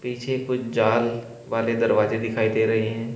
पीछे कुछ जाल वाले दरवाजे दिखाई दे रहे हैं।